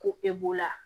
Ko e b'o la